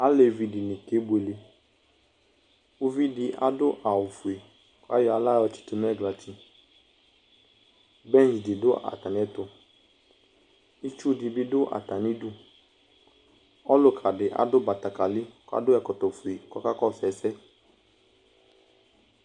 Alevi dini kebueleUvidi adʋ awu fue ,kayɔ aɣla yɔtsitu nɛglati Bench di dʋ atamiɛtuItsu dibi dʋ atamiduƆluka di adʋ betekeli, kadʋ ɛkɔtɔ fue kɔkakɔsʋ ɛsɛ